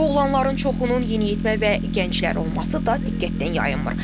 Boğulanların çoxunun yeniyetmə və gənclər olması da diqqətdən yayınmır.